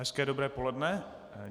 Hezké dobré poledne.